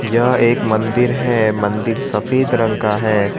यह एक मंदिर है मंदिर सफेद रंग का है।